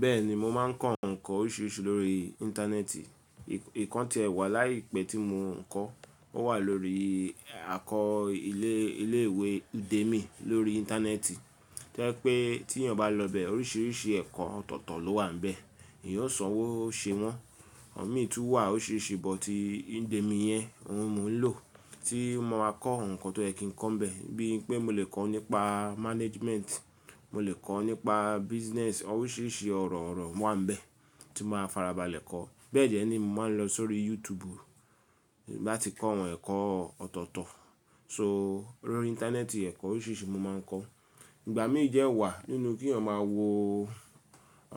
Bẹ́ẹ̀ni mo máa ń kọ́ ǹkan oríṣiríṣi lórí Íńtánẹ́ẹ̀tì. Nkań tì ẹ́ wà láìpẹ́ tí mo ń kọ́, ó wà lórí àkọ́ ilé ilé ìwé Udemy lórí Íńtánẹ́ẹ̀tì. To je pé tí ènìyàn bá lọ bẹ oríṣiríṣi ẹ̀kọ́ ọ̀tọ̀ọ̀tọ̀ ló wà níbẹ̀, eeyan o sanwóo ṣe wọ́n. O mí tún wà óriṣiriṣi bọ̀tí Udemy yẹn n òun mo ń lò tí mo ma kọ́ ǹkan tó yẹ kin kọ́'nbẹ̀ bíi pé mo lè kọ́ nípa Management, mo lè kọ́ nípa Business oríṣiríṣi ọ̀rọ̀ ọ̀rọ̀ wà níbẹ̀ tí mo máa farabalẹ̀ kọ́. Bẹ́ẹ̀ jẹ́ ni mo máa ń lọ sórí YouTube n bá ti kọ́ àwọn ẹ̀kọ́ ọ̀tọ̀ọ̀tọ̀. So lórí Íńtánẹ́ẹ̀tì ẹ̀kọ́ oríṣiríṣi mo máa ń kọ́. Ìgbà mí dẹ́ wà nínú kí ènìyàn máa wo